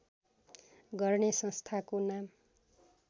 गर्ने संस्थाको नाम